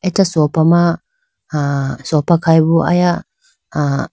acha sofa ma ah sofa khayi bo aya ah.